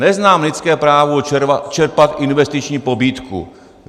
Neznám lidské právo čerpat investiční pobídku.